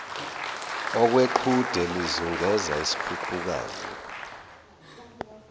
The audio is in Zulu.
okweqhude lizungeza isikhukukazi